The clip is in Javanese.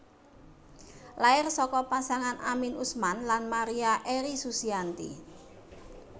Lair saka pasangan Amin Usman lan Maria Eri Susianti